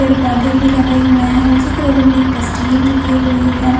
पौधे भी लगे हुए है उसी के बगल में एक डस्टबिन रखी हुई है।